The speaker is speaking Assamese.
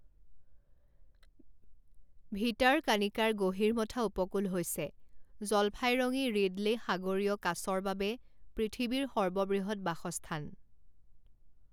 ভিটাৰকানিকাৰ গহিৰমথা উপকূল হৈছে জলফাইৰঙী ৰিডলে সাগৰীয় কাছৰ বাবে পৃথিৱীৰ সৰ্ববৃহৎ বাসস্থান।